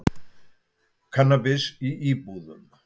Kannabis í íbúðum